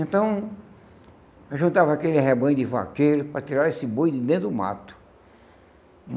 Então, eu juntava aquele rebanho de vaqueiros para tirar esse boi de dentro do mato.